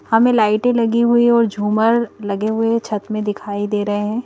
हमें लाइटें लगी हुई और झूमर लगे हुए छत में दिखाई दे रहे हैं।